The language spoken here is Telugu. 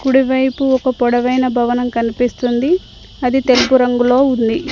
కుడి వైపు ఒక పొడవైన భవనం కనిపిస్తుంది ఆది తెలుపు రంగులో ఉంది.